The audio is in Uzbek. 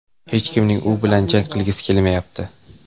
Hech kimning u bilan jang qilgisi kelmayapti.